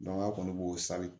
an kɔni b'o sari